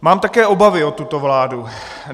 Mám také obavy o tuto vládu.